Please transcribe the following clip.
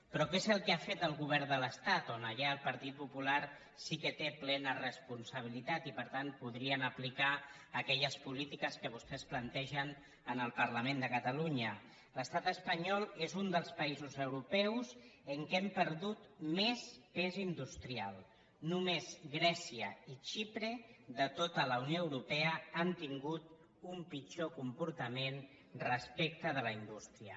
però què és el que ha fet el govern de l’estat on allà el partit popular sí que té plena responsabilitat i per tant podrien aplicar aquelles polítiques que vostès plantegen en el parlament de catalunya l’estat espanyol és un dels països europeus en què hem perdut més pes industrial només grècia i xipre de tota la unió europea han tingut un pitjor comportament respecte de la indústria